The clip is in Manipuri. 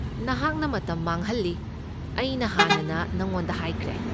ꯅꯍꯥꯛꯅ ꯃꯇꯝ ꯃꯥꯡꯍꯜꯂꯤ, ꯑꯩꯅ ꯍꯥꯟꯅꯅ ꯅꯉꯣꯟꯗ ꯍꯥꯏꯈ꯭ꯔꯦ꯫